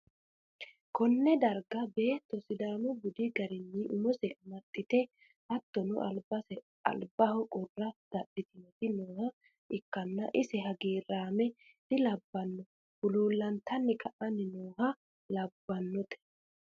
konne darga beettu sidaamu budi garinni umose amaxxite hatttono, albaho qurra dadhi'tinoti nooha ikkanna, iseno hagiiraame dilabbanno huluullantanni ka'anni nooha labbannote.